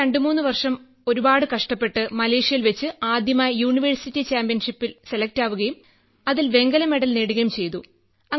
പിന്നെ 2 3 വർഷം ഒരുപാട് കഷ്ടപ്പെട്ട് മലേഷ്യയിൽ വെച്ച് ആദ്യമായി യൂണിവേഴ്സിറ്റി ചാമ്പ്യൻഷിപ്പിന് സെലക്ട് ആവുകയും അതിൽ വെങ്കല മെഡൽ കിട്ടുകയും ചെയ്തു